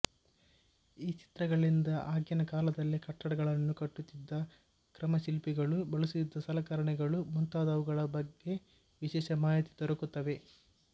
ಈ ಚಿತ್ರಗಳಿಂದ ಆಗಿನ ಕಾಲದಲ್ಲಿ ಕಟ್ಟಡಗಳನ್ನು ಕಟ್ಟುತ್ತಿದ್ದ ಕ್ರಮ ಶಿಲ್ಪಿಗಳು ಬಳಸುತ್ತಿದ್ದ ಸಲಕರಣೆಗಳು ಮುಂತಾದವುಗಳ ಬಗ್ಗೆ ವಿಶೇಷ ಮಾಹಿತಿ ದೊರಕುತ್ತವೆ